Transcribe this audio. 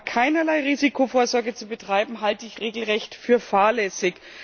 Aber keinerlei Risikovorsorge zu betreiben, halte ich regelrecht für fahrlässig.